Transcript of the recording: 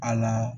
A la